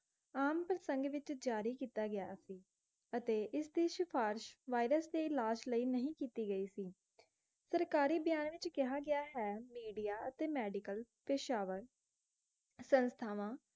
ਆਮ ਪ੍ਰਸੰਗ ਵਿਚ ਜਾਰੀ ਕਿੱਤਾ ਗਿਆ ਸੀ ਅਤੇ ਇਸ ਦੀ ਸਿਫਾਰਿਸ਼ virus ਦੇ ਇਲਾਜ ਲਈ ਨਹੀਂ ਕਿੱਤੀ ਗਈ ਸੀ ਸਰਕਾਰੀ ਬਿਆਨ ਵਿਚ ਕਿਹਾ ਗਿਆ ਹੈ ਮੀਡਿਆ ਅਤੇ ਮੈਡੀਕਲ ਪੇਸ਼ਾਵਰ ਸੰਸਥਾਵਾਂ